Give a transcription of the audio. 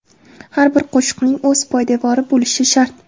Har bir qo‘shiqning o‘z poydevori bo‘lishi shart!